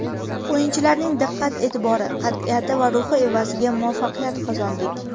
O‘yinchilarning diqqat-e’tibori, qat’iyati va ruhi evaziga muvaffaqiyat qozondik.